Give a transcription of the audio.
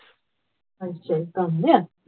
ਅੱਛਾ ਇਹ ਕੰਮ ਹੈ